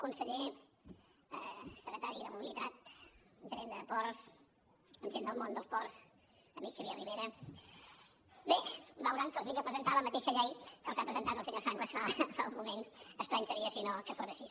conseller secretari de mobilitat gerent de ports gent del món dels ports amic xavier ribera bé veuran que els vinc a presentar la mateixa llei que els ha presentat el senyor sanglas fa un moment estrany seria si no que no fos així